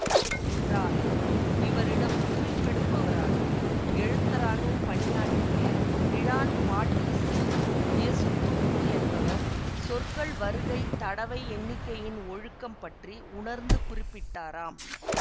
என்றாலும் இவரிடம் குறிப்பெடுப்பவராகவும் எழுத்தராகவும் பணியாற்றிய இழான் பாட்டீசு எசுத்தூப்பு என்பவர் சொற்கள் வருகை தடவையெண்ணிக்கையின் ஒழுக்கம் பற்றி உணர்ந்து குறிப்பிட்டாராம்